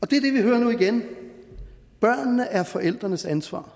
det vi hører nu igen børnene er forældrenes ansvar